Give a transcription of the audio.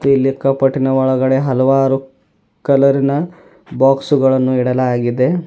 ಇಲ್ಲಿ ಕಫಟಿನ ಒಳಗಡೆ ಹಲವಾರು ಕಲರಿನ ಬಾಕ್ಸ ಗಳನ್ನು ಇಡಲಾಗಿದೆ.